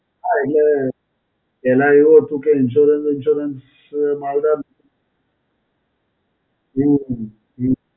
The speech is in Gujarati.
હાં, એટલે પહેલા એવું હતું કે Insurance વીન્સ્યોરન્સ માનતા, હમ્મ હમ્મ.